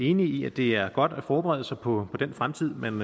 enige i at det er godt at forberede sig på den fremtid man